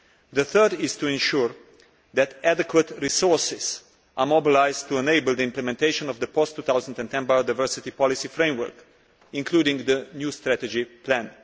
The third is to ensure that adequate resources are mobilised to enable the implementation of the post 2010 biodiversity policy framework, including the new strategy plan.